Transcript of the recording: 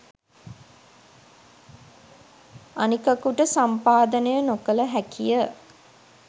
අනිකකුට සම්පාදනය නොකළ හැකිය.